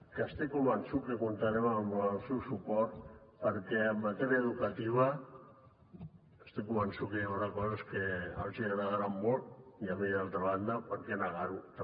que estic convençut que comptarem amb el seu suport perquè en matèria educativa estic convençut que hi haurà coses que els hi agradaran molt i a mi d’altra banda per què negar ho també